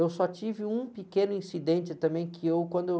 Eu só tive um pequeno incidente também que eu, quando eu